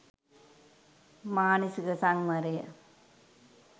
මානසික සංවරය,